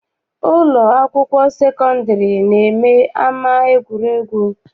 Ụlọ akwụkwọ sekọndịrị na-eme ama egwuregwu.